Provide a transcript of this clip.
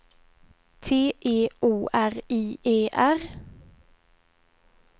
T E O R I E R